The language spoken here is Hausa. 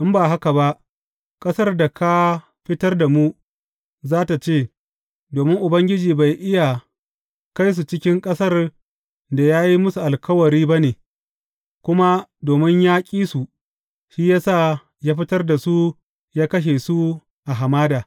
In ba haka ba, ƙasar da ka fitar da mu, za tă ce, Domin Ubangiji bai iya kai su cikin ƙasar da ya yi musu alkawari ba ne, kuma domin ya ƙi su, shi ya sa ya fitar da su ya kashe su a hamada.’